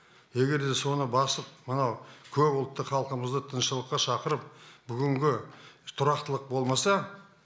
егер де соны басып мына көпұлтты халқымызды тыныштыққа шақырып бүгінгі тұрақтылық болмаса